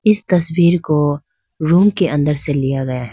इस तस्वीर को रूम के अंदर से लिया गया है।